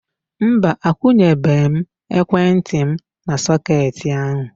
Mba, akwunyebe m ekwentị m n'sọketi ahu